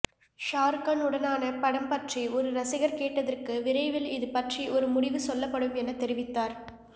ஷாருக்கான் உடனான படம் பற்றி ஒரு ரசிகர் கேட்டதற்கு விரைவில் இது பற்றி ஒரு முடிவு சொல்லப்படும் என தெரிவித்தார்